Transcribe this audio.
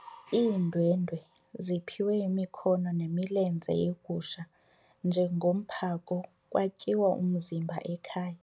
Iindwendwe ziphiwe imikhono nemilenze yegusha njengomphako kwatyiwa umzimba ekhaya.